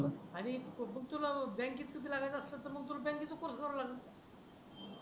आणि बग तुला बँक कधी लागायच असल तर मग तुला बँक चा कोर्स कर लागण